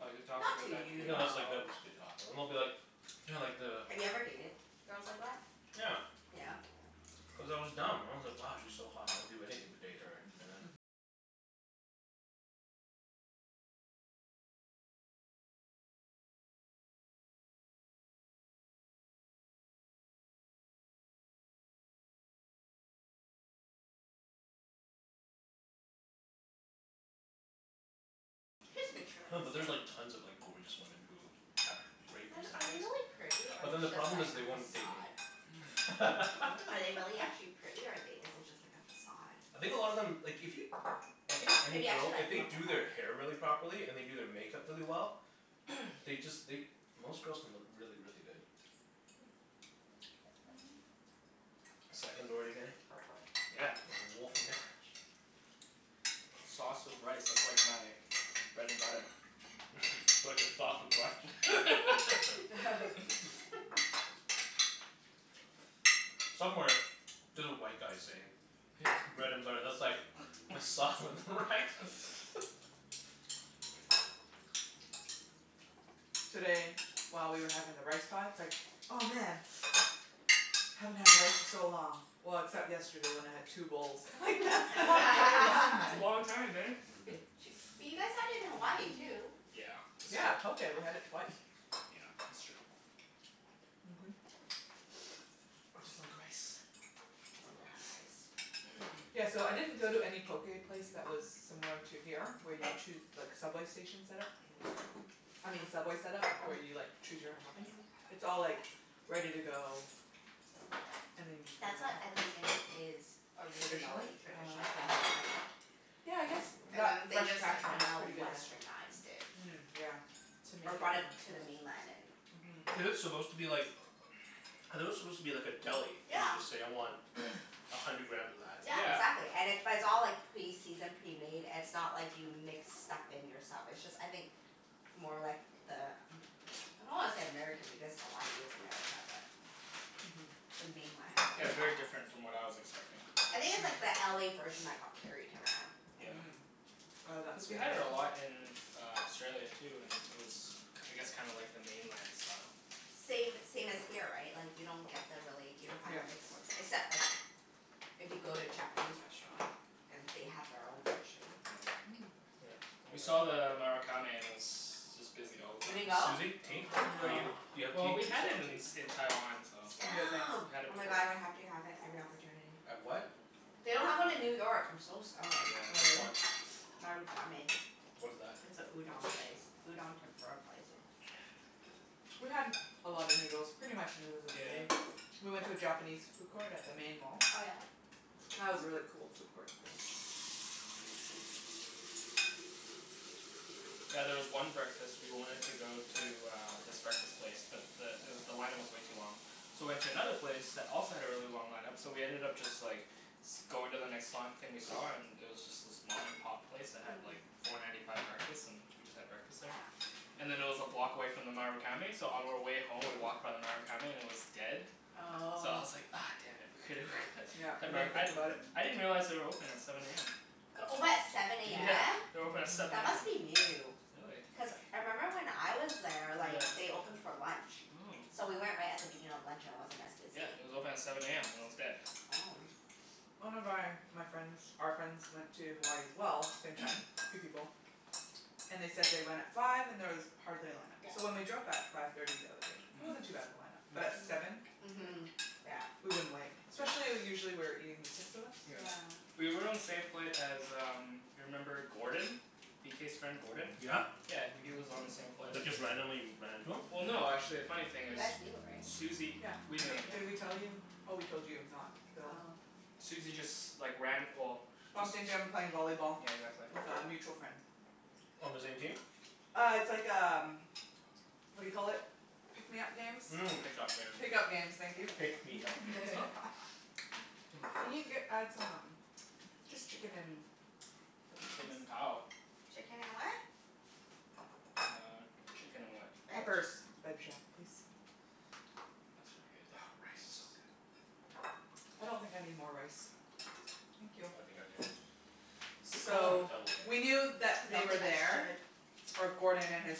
Like, they're talking Not about to that to you, No, you? that's like, though. they'll just be talking. And they'll be like you know like the Have you ever dated girls like that? Yeah. Yeah? Cuz I was dumb. I was like, "Wow, she's so hot. I would do anything to date her." And then Just No, but there's like materialistic. tons of like gorgeous women who have great Then are they personalities. really pretty, or But is then the it just problem like is a they won't date me. facade? Hmm? What? Are they really actually pretty or are they, is it just like a facade? I think a lot of them, like if you I think If any you actually girl, if like look they at do them? their hair really properly, and they do their makeup really well they just, they, most girls can look really, really good. Seconds already getting? Yeah. There's a wolf in there? Sauce with rice. That's like my bread and butter. Sauce with rice. Somewhere there's a white guy saying bread and butter, that's like my sauce with rice. Today, while we were having the rice pot, it's like, "Oh, man!" "Haven't had rice in so long. Well, except yesterday when I had two bowls." I'm like, "That's not very long, That's a then." long time, man. Bu- ch- but you guys had it in Hawaii too. Yeah, that's Yeah, true. poké. We had it twice. Yeah, that's true. I Mhm. just like rice. Love rice. Yeah, so I didn't go to any poké place that was similar to here where you choo- like, subway station set-up. I uh-huh. mean Subway set-up, where you like Mhm. choose your own toppings. Mhm. It's all like ready to go and then you just get That's on the what I think subway. is is Traditionally? originally Ah, traditionally okay. in Hawaii. Yeah, I guess And that then they Fresh just like Catch one is kinda pretty good then. Westernized it. Mm, yeah. To make Or it more brought it to the mainland and Mhm. Is it supposed to be like I thought it was supposed to be like a deli, and Yeah. you just say, "I want a hundred grams of that." Yeah, Yeah. exactly. And it it's all like pre-seasoned, pre-made. It's not like you mix stuff in yourself. It's just I think more like the Am- I don't wanna say American, because Hawaii is America, but Mhm. the mainland. Yeah, it's very different from what I was expecting. I think it's like the LA version that got carried around. Yeah. Mm. Oh, that? Cuz we had it a lot in uh Australia, too, and it was k- I guess kinda like the mainland style. Same same as here, right? Like you don't get the really, you don't find Yep. the mixed ones. Except like if you go to a Japanese restaurant. And they have their own version. Mm. We saw the Marukame and it was just busy all the You didn't time. go? Susie, tea? No. Are No. you, do you have Well, tea? Do we you had still it want in tea? in Taiwan, so I'm good, thanks. Damn. we Oh had it my god, before. I would have to have it every opportunity. Have what? Mhm. They don't have one in New Marukame. York. I'm so sad. Oh, Which Yeah. really? one? Marukame. What is that? It's a udon place. Udon tempura place. We had a lot of noodles. Pretty much noodles every Yeah. day. We went to a Japanese food court at the main mall. Oh yeah? That was a really Oh. cool food court. Yeah, there was one breakfast, we wanted to go to uh this breakfast place but the it w- the line up was way too long. So we went to another place that also had a really long line up. So we ended up just like going to the next li- thing we saw and it was just this mom and pop place that had like Hmm. four ninety five breakfast. And we just had breakfast there. Yeah. And then it was a block away from the Marukame so on our way home we walked by the Marukame and it was dead. So I Oh. was like, ah damn it. We coulda we Yep. could We had more, didn't I think about it. I didn't realize they were open at seven a m. They're open at seven a Yeah. m? They're open at Mhm. seven That a m. must be new. Really? Cuz I member when I was there, like Yeah. they opened for lunch. Mm. So we went right at the beginning of lunch and it wasn't as Yeah, busy. it was open at seven a m and it was dead. Oh. One of my my friends, our friends went to Hawaii as well. Same time. Three people. And they said they went at five and there was hardly a line up. So when Yeah. we drove by at five thirty the other day, Hmm. it Mm. wasn't too bad of a line up. But at seven? Mm. Li- Mhm. Yeah. we wouldn't wait. Yeah. Especially usually we were eating, the six of us. Yeah. Yeah. We were on the same flight as um you remember Gordon? B k's friend, Gordon? Yeah? Yeah. W- he was on the same flight as But us. just randomly ran into him? Well no, actually, a funny thing You is guys knew, right? Susie, Yeah. we I knew him, think, yeah. did we tell you? Oh, we told you, not Phil. Oh. Susie just like ran, well just Bumped into him playing volleyball Yeah, exactly. with a mutual friend. On the same team? Uh, it's like um what do you call it? Pick me up games? Mm. Pick up games. Pick up games. Thank you. Pick me up games. Can you get add some um Just chicken and peppers, please? Chicken and cow. Chicken and what? Uh, chicken and what? Veg? Peppers. please? That should be good, Oh, yeah. rice is so Thanks. good. I don't think I need more rice. Thank you. I think I do. Good call on the So, double, we Kenny. knew that they Don't were think I there should. or Gordon and his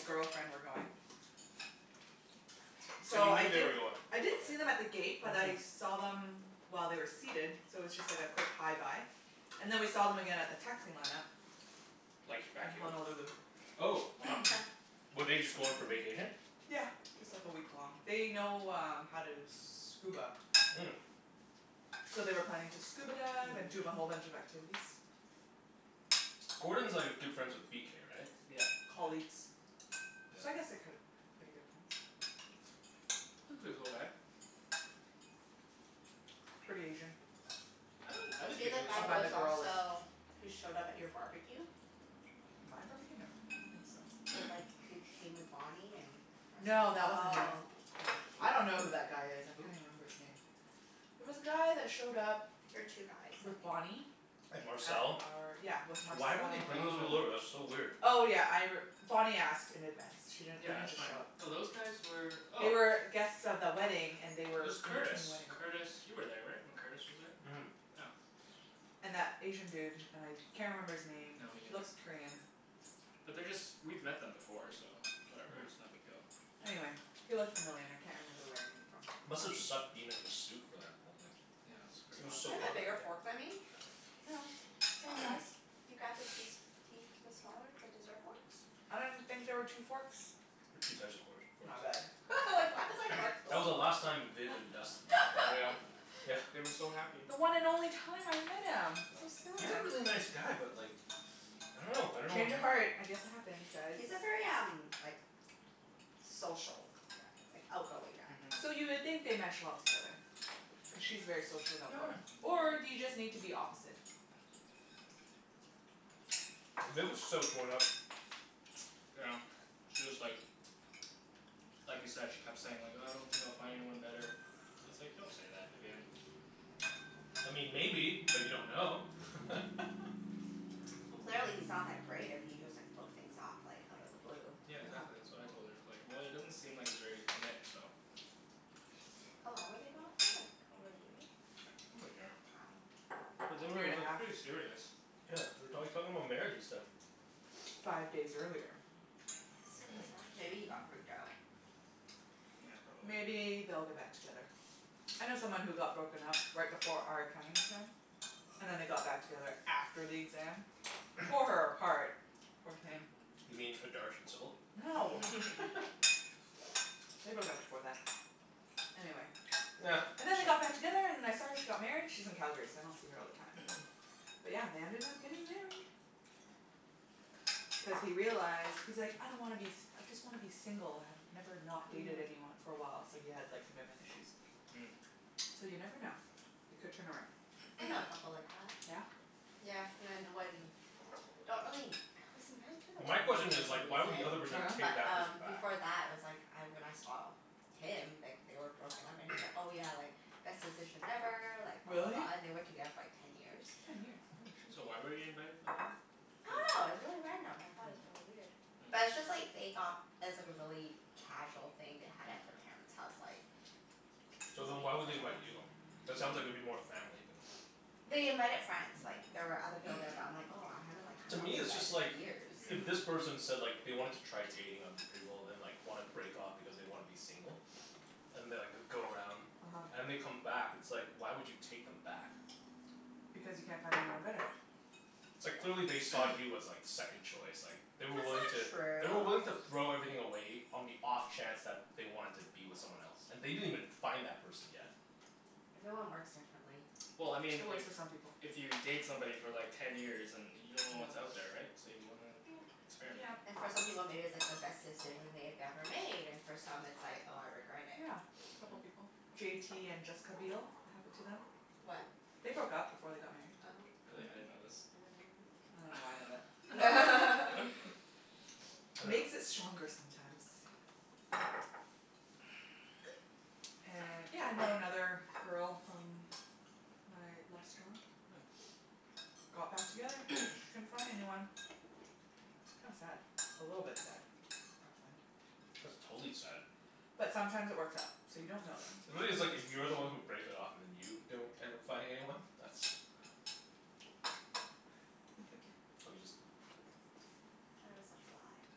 girlfriend were going. So So you I Okay, knew fine. they were didn't going? I didn't Okay. see them at the gate but I Mhm. saw them while they were seated so it was just like a quick hi bye. And then we saw them again at the taxi line up. Like, back In here? Honolulu. Oh, wow. Were they just going for vacation? Yeah, just like a week long. They know um how to scuba. Mm. So they were planning to scuba dive and do a whole Mmm. bunch of activities. Gordon's like a good friends with b k, right? Yep. Colleagues. So I Yeah. guess they're ki- k- pretty good friends. He's a pretty cool guy. Pretty Asian. I don't, I Was didn't he think the he was I guy who super find the was Asian. girl is. also, who showed up at your barbecue? My barbecue? No, I don't think so. With like, who came with Bonnie and No, that wasn't him, Oh. no. I don't know who that guy is. I Who? There Who? can't even remember his name. There was a guy that showed up were two guys, I with Bonnie think. And at Marcel? our, yeah, with Marcel. Why would they bring those people Oh. over? That's so weird. Oh, yeah, I r- Bonnie asked in advance. She didn't, they Yeah, didn't that's just show fine. up. No, those guys were They oh were guests of the wedding, and they It were was in Curtis. between wedding. Curtis you were there, right? When Curtis was there? Yeah. And that Asian dude. And I can't remember his name. No, me He neither. looks Korean. But they're just, we've met them before, so whatever. It's no big deal. Mm. Anyway, he looked familiar and I can't remember where I knew him from. Must have sucked being in a suit for that whole thing. Yeah, it's pretty It was Do hot so you have back a hot bigger there. that day. fork than me? No, same Oh. size. You grabbed the key s- key the smaller, the dessert forks? I didn't think there were two forks. There's two size of course forks. My bad. I was like why is my fork so That was the small? last time Viv and Dustin were Yeah. together. Yeah. They were so happy. The one and only time I met him. So Yeah. He's a sad. really nice guy but like I don't know. I don't know what Change of uh heart. I guess it happens, guys. He's a very um like social guy. Like, outgoing guy. Mhm. So you would think they mesh well together. Cuz she's very social and outgoing. Or do you just need to be opposite? Yeah. Viv was so torn up. Yeah, she was like like you said, she kept saying like, "Uh I don't think I'll find anyone better." I was like, "Don't say that, Vivienne." I mean maybe, but you don't know. Well clearly he's not that great if he just like broke things off like out of the blue. Yeah, uh-huh. exactly. That's what I told her. I was like, "Well, he doesn't seem like he's ready to commit, so" How long were they going out for? Like over a year? Over a year. But they Year were and a like half. pretty serious. Wow. Yeah, they were talk talking about marriage and stuff. Five days earlier. That's so bizarre. Maybe he got freaked out. Yeah, probably. Maybe they'll get back together. I know someone who got broken up right before our accounting exam. And then they got back together after the exam. Tore her apart, poor thing. You mean No. They broke up before that. Anyway. And then they got back together and I saw her, she got married. She's in Calgary so I don't see her all the time. But yeah, they ended up getting married. Cuz he realized, he's like, "I don't wanna be s- I just wanna be single." "I've never not dated anyone for a while." So he had like commitment issues. Mm. So you never know. It could turn around. Mhm. I know a couple like that. Yeah? Yeah, cuz I Don't really, I was invited to the My wedding, question for is like why would the some reason. other Oh person yeah? take But that person um back? before that I was like I, when I saw him, like they were broken up and he's like, "Oh yeah, like best decision ever, like blah, blah, Really? blah," and they were together for like ten years. Ten years? Holy shit. So why were you invited for the wedding? I dunno. It was Di- really random. I thought it was really weird. But Yeah. it's Hmm. just like they got it was like a really casual thing they had at their Mm. parents' house like k- So excuse me. then It why was at would they the invite house. you? That sounds like it'd be more family than They invited friends. Like there were other people there, but I'm like, "Oh, I haven't like To hung out me, with you it's guys just like in Yeah. years." if this Mhm. person said like they wanted to try dating other people and like wanna break off because they wanna be single. And they'll like go around uh-huh. and they come back. It's like why would you take them back? Because you can't find anyone better. It's like clearly they saw you as like second choice, like They That's were wiling not to They were willing true. to throw everything away on the off chance that they wanted to be with someone else. And they didn't even find that person yet. Everyone works differently. Well, I mean It if works for some people. if you date somebody for like ten years and you Yeah. don't know what's out there, right? So you wanna experiment. Yep. And for some people maybe it's like the best decision they had ever made and for some it's like, "Oh, I regret it." Yeah, a couple Mhm. people. J t and Jessica Biel. It happened to them. They broke up before they got married. Oh. Really? I Mhm. didn't know this. I dunno why I know that. I dunno. Makes it stronger sometimes. And yeah, I know another girl from my last job. Got back together. Couldn't find anyone. Hmm. Kinda sad. A little bit sad. I find. That's totally sad. But sometimes it works out. So you don't know then. Really it's like, if you're the one who breaks it off and then you don't end up finding anyone? That's Let me just Thought it was a fly.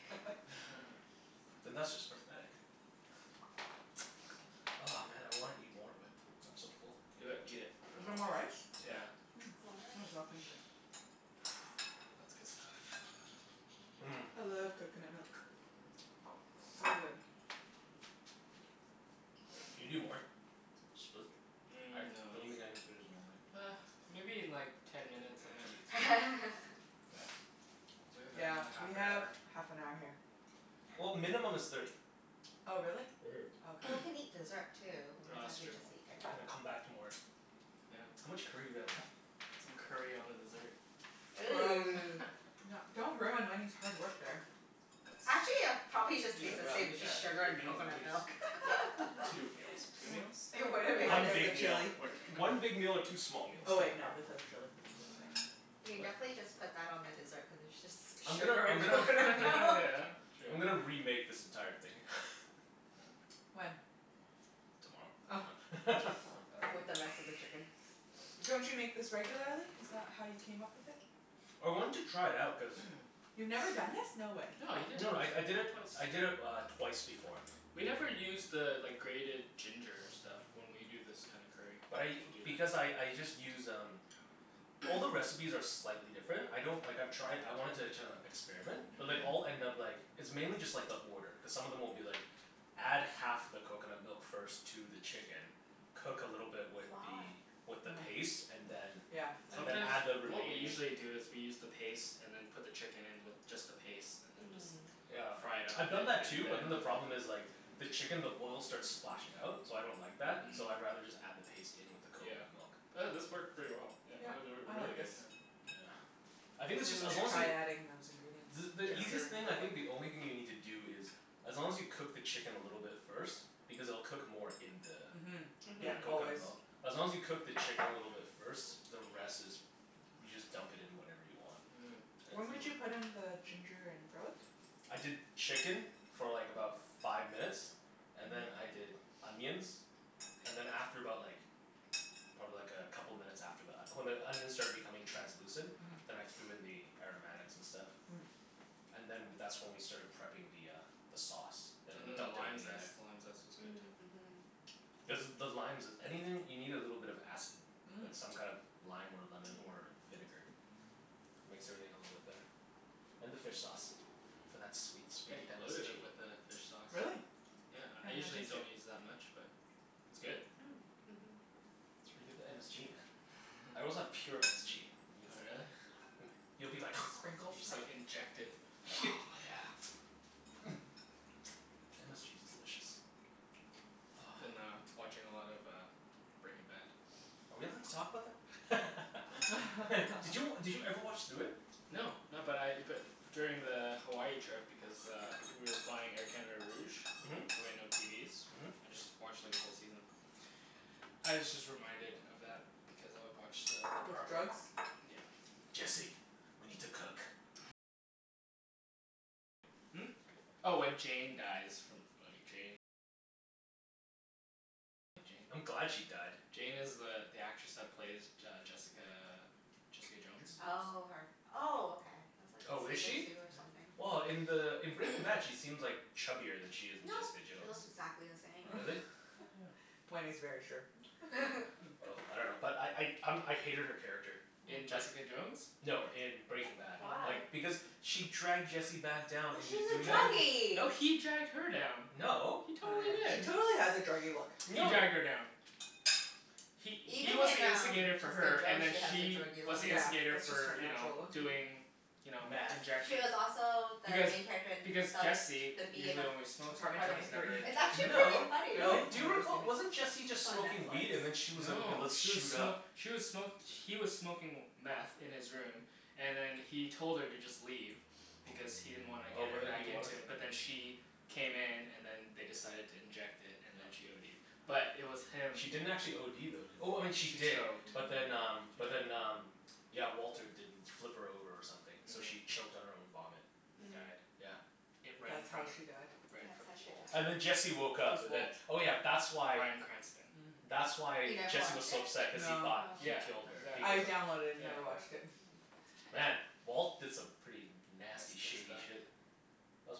then that's just pathetic. Oh man, I wanna eat more but I'm so full. Do it. Eat it. Is No. there more rice? Yeah. Yeah. Mm, More might as well rice. finish it. That's good stuff. Mmm. I love coconut milk. So good. Can you do more? Split? I Mm, no don't you, think I can finish the whole thing. ah, maybe in like ten minutes I might eat something. We have Yeah, another half we an have hour. half an hour here. Yeah. Well, minimum is thirty. Oh, really? Mhm. Oh, okay. Well, we can eat dessert, too. We No, don't have that's to true. just eat dinner. And then come back to more. Yeah. How much curry do we have left? Put some curry on the dessert. Gross. Ooh. No, don't ruin Wenny's hard work there. That's, Actually it'll probably Decent just taste the meal. same. It's yeah, just two, sugar three and meals at coconut least. milk. Yep. Two meals. Two Yeah. meals? It wouldn't Well, make a one Minus the big difference. meal, chili. or one big meal or two small Oh meals. wait, no, this has chili. What am I saying? You can What? definitely just put that on the dessert cuz it's just I'm gonna sugar I'm and gonna coconut milk. Yeah, true. I'm gonna remake this entire thing. When? Tomorrow. Oh. No. With the rest of the chicken. Don't you make this regularly? Is that how you came up with it? I wanted to try it out cuz You've never done this? No way. No, you did it, No no, I I you did did it, it twice. I did it uh twice before. We never use the like grated ginger stuff when we do this kinda curry. But I, Do because that. I I just use um All the recipes are slightly different. I don't, like I've tried, I wanted to kinda experiment. But they all Mhm. Mhm. end up like It's mainly just like the order, cuz some of them will be like Add half the coconut milk first to the chicken cook a little bit with Why? the with the paste and then Yeah. Yeah. and then Mm. Sometimes, add the what we remaining usually do is we use the paste and then put the chicken in with just the paste and then just Mm. Yeah, fry it up a I've bit done that and too but then then the the problem is like the chicken, the oil starts splashing out. So I don't like that. Mm. So Mhm. I'd rather just add the paste in with the Yeah. coconut milk. But this Hmm. worked pretty well, yeah Yep, or or I really like this. good, yeah. Yeah. I think this Maybe is, we as should long as try y- adding those ingredients. The the easiest Yeah. Ginger and thing I garlic. think, the only thing you need to do is as long as you cook the chicken a little bit first because it'll cook more in the Mhm. in Yeah, the Mhm. always. coconut milk. As long as you cook the chicken a little bit first, the rest is you just dump it in whenever you want. Mm. It's When w- would you put in the ginger and garlic? I did chicken for like about five minutes and then Mhm. I did onions. And then after about like probably like a couple minutes after that. When the onions started becoming translucent. Mhm. Then I threw in the aromatics and stuff. Mm. And then w- that's when we started prepping the uh the sauce. And then And we then the dumped lime everything in there. zest. The lime zest was good, too. Mm. Mhm. Cuz the limes is, anything, you need a little bit of acid. Mm. Like some kind of lime or Yeah. lemon or vinegar. Makes everything a little bit better. And the fish sauce. Mhm. For that sweet, Yeah, sweet you loaded MSG. it with the fish sauce. Really? Yeah, I Can't even usually taste it. don't use that much but it's good. Mm. Mhm. That's where you get the MSG, man. I also have pure MSG if Oh, yo- really? Hmm, you'll be The like sprinkle You just stuff? like inject it. Oh yeah. MSG is delicious. Been uh watching a lot of uh Breaking Bad. Are we allowed to talk about that? I dunno. Did you, did you ever watch through it? No. No, but I but f- during the Hawaii trip because uh we were flying Air Canada Rouge Mhm. so we had no TVs. Mhm. I just watched like a whole season. I was just reminded of that because I watched the the With part where drugs? Yeah. Jesse. We need to cook. I'm glad she died. Jane is the the actress that plays J- uh, Jessica Jessica Jones? Oh, her. Oh, okay. That's like Oh, is season she? two or Yeah. something. Well, in the in Breaking Bad she seems like chubbier than she is in No. Jessica She Jones. looks exactly the same. Really? Yeah. Wenny's very sure. Oh, I dunno. But I I um I hated her character. In Oh. Just, Jessica Jones, no, or in Breaking Bad. Why? Like, Oh. because she dragged Jesse back down Well into she's a doing No. meth. No, druggie. he dragged her down. No. He Oh, totally yeah. She did. totally has a druggie look. He No. dragged her down. He he Even was in the um instigator for Jessica her, and Jones then she has a she druggie was look. the Yeah, instigator that's just her for you know, natural look. Mhm. doing you know, Meth. She was injection. also the Because main character in the because Jesse The B in usually Ap- only smokes it, Apartment right? Apartment twenty He's three? never Thirteen. It's injected actually it pretty before? No. funny. No. Really? Do I've you never seen recall, it. wasn't Jesse It's just on smoking weed and then Netflix. she was like, "Okay, No. let's She was shoot smo- up." she was smo- he was smoking meth in his room and then he told her to just leave. Because he didn't wanna Oh, get but her then back he wanted into it. But then she came in and then they decided to inject it, and then she ODed. But it was him She didn't actually OD though, did, oh, she She did. choked. She But then Mhm. um but did. then um yeah, Walter didn't flip her over or something, so Mhm. she choked on her own vomit. And Mm. died. Yeah. It, right in That's how front of, she died? right in That's front how of she Walt. died. And then Jesse woke Who's up and then, Walt? oh yeah, that's why Brian Cranston. Mm. that's You why never Jesse was watched so it? upset cuz he No. thought Oh. he Yeah, killed her, exactly. I because of, downloaded it and Yeah. yeah. never watched it. Mm. Man, Walt did some pretty nasty Messed shady up stuff. shit. That It's was